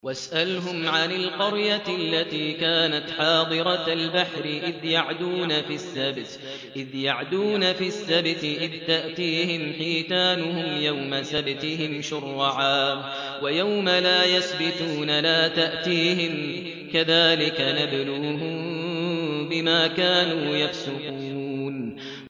وَاسْأَلْهُمْ عَنِ الْقَرْيَةِ الَّتِي كَانَتْ حَاضِرَةَ الْبَحْرِ إِذْ يَعْدُونَ فِي السَّبْتِ إِذْ تَأْتِيهِمْ حِيتَانُهُمْ يَوْمَ سَبْتِهِمْ شُرَّعًا وَيَوْمَ لَا يَسْبِتُونَ ۙ لَا تَأْتِيهِمْ ۚ كَذَٰلِكَ نَبْلُوهُم بِمَا كَانُوا يَفْسُقُونَ